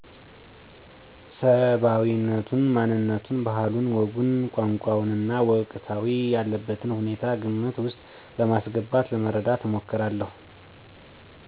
ሰባዊነቱን፣ ማንነቱን፣ ባህሉን፣ ወጉን፣ ቋንቋውንና ወቅታዊ ያለበትን ሁኔታ ግምት ውስጥ በማስገባት ለመረዳት እሞክራለሁ።